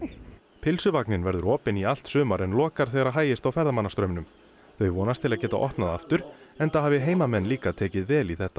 pylsuvagninn verður opinn í allt sumar en lokar þegar hægist á ferðamannastraumnum þau vonast til að geta opnað aftur enda hafi heimamenn líka tekið vel í þetta